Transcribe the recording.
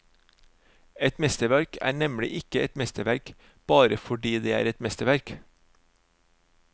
Et mesterverk er nemlig ikke et mesterverk bare fordi det er et mesterverk.